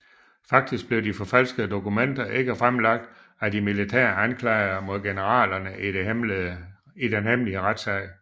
Faktisk blev de forfalskede dokumenter ikke fremlagt af de militære anklagere mod generalerne i den hemmelige retssag